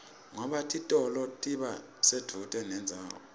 ngoba titolo tiba sedvute nendzawo